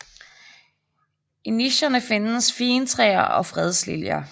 I nicherne findes figentræer og fredsliljer